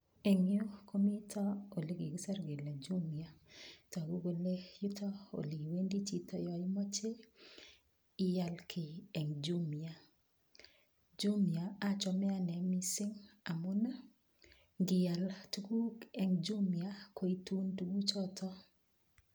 Engyu komito olekikisir kele Jumia, togu kole yuok oleiwendi chito yoimache ial kiy eng Jumia. Jumia achame ane kot mising amun ngial tukuk eng Jumia koitun tukuchotok.